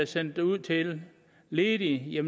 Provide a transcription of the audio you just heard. sendt ud til ledige af